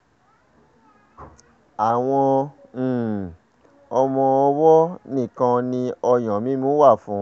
àwọn um ọmọ-ọwọ́ nìkan ni ọyàn mímu wà fún